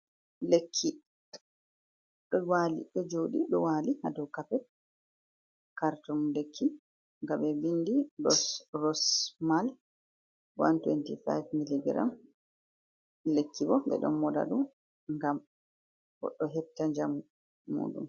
Lekki ɗo wali ɗo joɗi ɗo wali hado kapet, kartum lekki nga ɓe bindi dorossmal 125 mg lekki bo ɓe ɗo moɗa ɗum ngam goɗɗo hefta njamu mu ɗum.